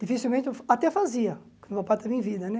Dificilmente, até fazia, quando o meu pai estava em vida, né?